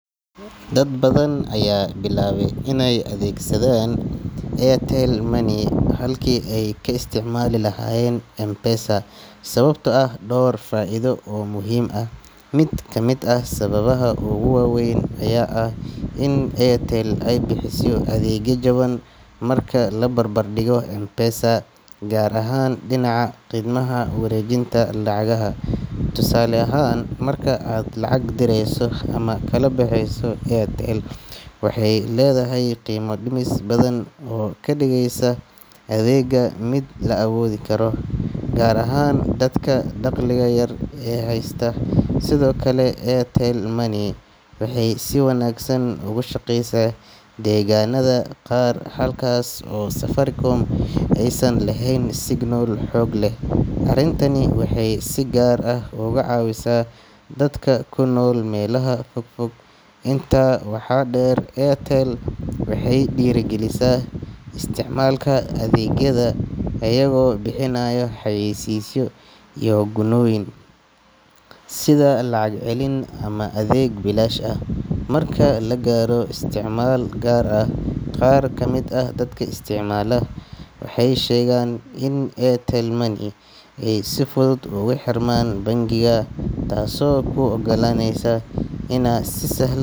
Dad badan ayaa bilaabay inay adeegsadaan Airtel Money halkii ay ka isticmaali lahaayeen M-Pesa sababtoo ah dhowr faa'iido oo muhiim ah. Mid ka mid ah sababaha ugu waaweyn ayaa ah in Airtel ay bixiso adeegyo jaban marka la barbar dhigo M-Pesa, gaar ahaan dhinaca khidmadaha wareejinta lacagaha. Tusaale ahaan, marka aad lacag dirayso ama kala baxayso, Airtel waxay leedahay qiimo dhimis badan oo ka dhigaysa adeegga mid la awoodi karo, gaar ahaan dadka dakhliga yar haysta. Sidoo kale, Airtel Money waxay si wanaagsan ugu shaqaysaa deegaannada qaar halkaas oo Safaricom aysan lahayn signal xoog leh. Arrintani waxay si gaar ah uga caawisaa dadka ku nool meelaha fogfog. Intaa waxaa dheer, Airtel waxay dhiirrigelisaa isticmaalka adeegyadeeda iyagoo bixinaya xayeysiisyo iyo gunnooyin, sida lacag celin ama adeeg bilaash ah marka la gaaro isticmaal gaar ah. Qaar ka mid ah dadka isticmaala waxay sheegaan in Airtel Money ay si fudud ugu xirmaan bankiga, taasoo u oggolaanaysa inay si sahlan.